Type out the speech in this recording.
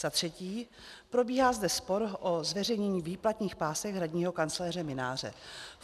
Za třetí, probíhá zde spor o zveřejnění výplatních pásek hradního kancléře Mynáře.